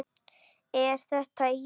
Er þetta ég!?